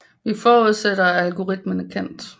Vi forudsætter at algoritmen er kendt